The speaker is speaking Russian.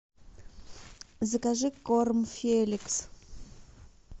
закажи корм феликс